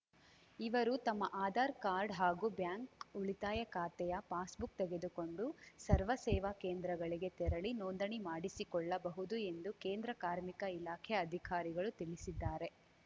ಇವರು ತಮ್ಮ ಆಧಾರ್‌ ಕಾರ್ಡ್‌ ಹಾಗೂ ಬ್ಯಾಂಕ್‌ ಉಳಿತಾಯ ಖಾತೆಯ ಪಾಸ್‌ಬುಕ್‌ ತೆಗೆದುಕೊಂಡು ಸರ್ವ ಸೇವಾ ಕೇಂದ್ರಗಳಿಗೆ ತೆರಳಿ ನೋಂದಣಿ ಮಾಡಿಸಿಕೊಳ್ಳಬಹುದು ಎಂದು ಕೇಂದ್ರ ಕಾರ್ಮಿಕ ಇಲಾಖೆ ಅಧಿಕಾರಿಗಳು ತಿಳಿಸಿದ್ದಾರೆ